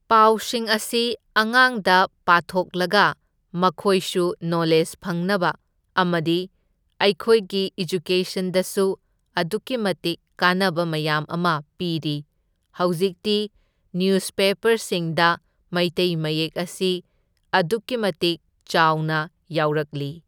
ꯄꯥꯎꯁꯤꯡ ꯑꯁꯤ ꯑꯉꯥꯡꯗ ꯄꯥꯊꯣꯛꯂꯒ ꯃꯈꯣꯏꯁꯨ ꯅꯣꯂꯦꯖ ꯐꯪꯅꯕ ꯑꯃꯗꯤ ꯑꯩꯈꯣꯏꯒꯤ ꯏꯑꯦꯖꯨꯀꯦꯁꯟꯗꯁꯨ ꯑꯗꯨꯛꯀꯤ ꯃꯇꯤꯛ ꯀꯥꯥꯟꯅꯕ ꯃꯌꯥꯝ ꯑꯃ ꯄꯤꯔꯤ, ꯍꯧꯖꯤꯛꯇꯤ ꯅ꯭ꯌꯨꯁꯄꯦꯄꯔꯁꯤꯡꯗ ꯃꯩꯇꯩ ꯃꯌꯦꯛ ꯑꯁꯤ ꯑꯗꯨꯛꯀꯤ ꯃꯇꯤꯛ ꯆꯥꯎꯅ ꯌꯥꯎꯔꯛꯂꯤ꯫